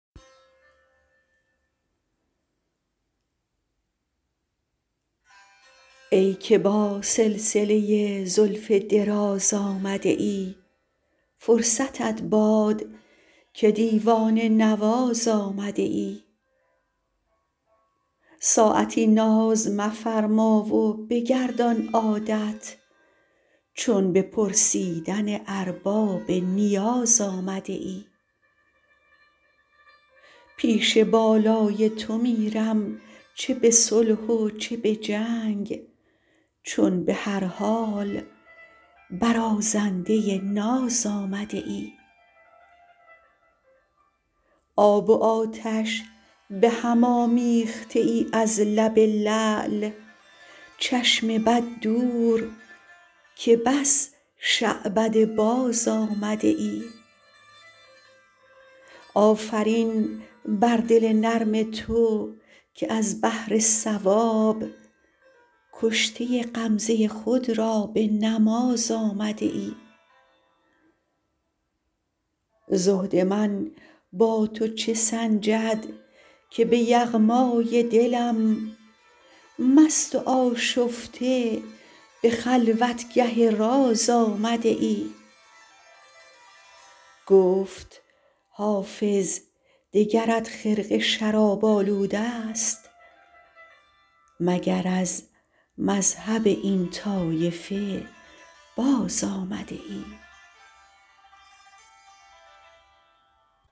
ای که با سلسله زلف دراز آمده ای فرصتت باد که دیوانه نواز آمده ای ساعتی ناز مفرما و بگردان عادت چون به پرسیدن ارباب نیاز آمده ای پیش بالای تو میرم چه به صلح و چه به جنگ چون به هر حال برازنده ناز آمده ای آب و آتش به هم آمیخته ای از لب لعل چشم بد دور که بس شعبده باز آمده ای آفرین بر دل نرم تو که از بهر ثواب کشته غمزه خود را به نماز آمده ای زهد من با تو چه سنجد که به یغمای دلم مست و آشفته به خلوتگه راز آمده ای گفت حافظ دگرت خرقه شراب آلوده ست مگر از مذهب این طایفه باز آمده ای